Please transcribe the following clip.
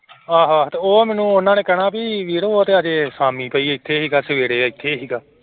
ਆਹੋ ਆਹੋ ਤੇ ਉਹ ਮੈਨੂੰ ਉਹਨਾਂ ਨੇ ਕਹਿਣਾ ਵੀ ਵੀਰ ਉਹ ਤੇ ਹਜੇ ਸ਼ਾਮੀ ਪਈ ਇੱਥੇ ਸੀਗਾ ਸਵੇਰੇ ਇੱਥੇ ਸੀਗਾ।